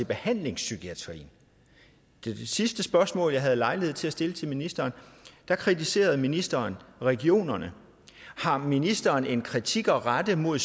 behandlingspsykiatrien ved det sidste spørgsmål jeg havde lejlighed til at stille til ministeren kritiserede ministeren regionerne har ministeren en kritik at rette mod